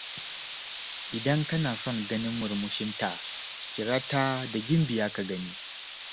Idan kana son ganin murmushinta, kira ta da Gimbiya ka gani.